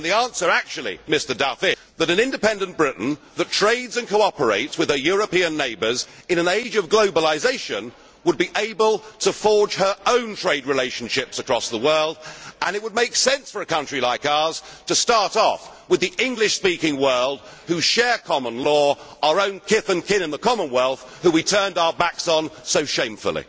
Mr Duff, the answer actually is that an independent Britain that trades and cooperates with her European neighbours in an age of globalisation would be able to forge her own trade relationships across the world. It would make sense for a country like ours to start off with the English speaking world, which shares common law our own kith and kin in the Commonwealth who we turned our backs on so shamefully.